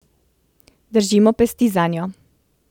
Držimo pesti zanjo.